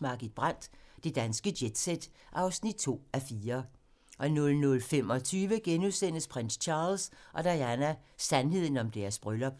Margit Brandt - Det danske jet-set (2:4)* 00:25: Prins Charles og Diana: Sandheden om deres bryllup *